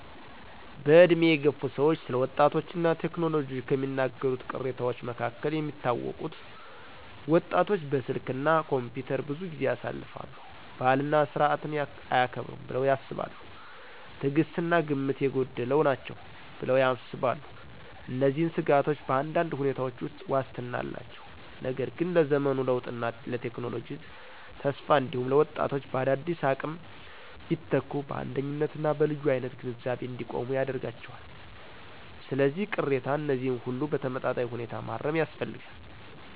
በዕድሜ የገፉ ሰዎች ስለ ወጣቶች እና ቴክኖሎጂ ከሚናገሩት ቅሬታዎች መካከል የሚታወቁት: ወጣቶች በስልክ እና ኮምፒውተር ብዙ ጊዜ ያሳልፋሉ። ባህልና ሥርዓትን አያከብሩም ብለው ያስባሉ። ትዕግሥት እና ግምት የጎደላቸው ናቸው ብለው ያስባሉ። እነዚህን ስጋቶች በአንዳንድ ሁኔታዎች ውስጥ ዋስትና አላቸው፣ ነገር ግን ለዘመኑ ለውጥና ለቴክኖሎጂ ተስፋ እንዲሁም ለወጣቶች በአዳዲስ አቅም ቢተኩ በአንደኝነት እና በልዩ አይነት ግንዛቤ እንዲቆሙ ያደርጋቸዋል። ስለዚህ፣ ቅሬታ እነዚህን ሁሉ በተመጣጣኝ ሁኔታ ማረም ያስፈልጋል።